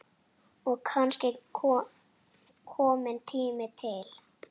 Og kannski kominn tími til.